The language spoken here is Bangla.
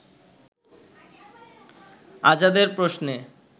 আজাদের প্রশ্নে